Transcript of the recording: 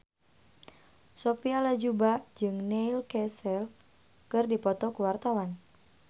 Sophia Latjuba jeung Neil Casey keur dipoto ku wartawan